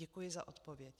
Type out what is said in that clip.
Děkuji za odpověď.